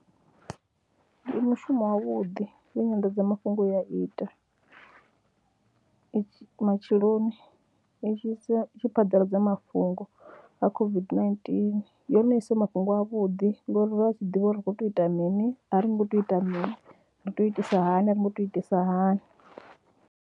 Ndi mushumo wavhuḓi u nyanḓadzamafhungo u ya ita, matsheloni zwi sia zwi shi phaḓaladza mafhungo ha COVID-19, yone i isa mafhungo avhuḓi ngori ra tshi ḓivha uri ri khou tea u ita mini, a ri ngo tea u ita mini, ri tea u itisa hani, a ri ngo tea u itisa hani.